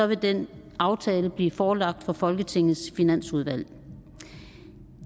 vil den aftale bliver forelagt for folketingets finansudvalg